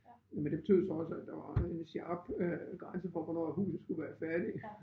Men det betød så også at der var en sharp øh grænse for hvornår at huset skulle være færdigt